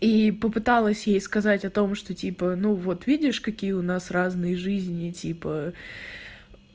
и попыталась ей сказать о том что типа ну вот видишь какие у нас разные жизни типа